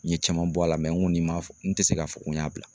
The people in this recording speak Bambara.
N ye caman bɔ a la n ko nin ma n tɛ se k'a fɔ n ko y'a bila